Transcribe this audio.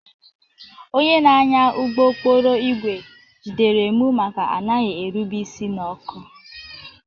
Onye na-anya ụgbọ okporo ígwè jidere m maka anaghị erube isi n'ọkụ